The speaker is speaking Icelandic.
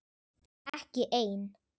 Ekki ein.